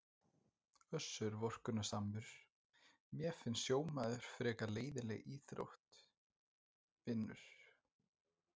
Össur vorkunnsamur: Mér finnst sjómaður frekar leiðinleg íþrótt vinur.